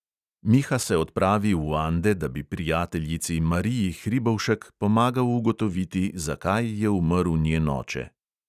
Miha se odpravi v ande, da bi prijateljici mariji hribovšek pomagal ugotoviti, zakaj je umrl njen oče.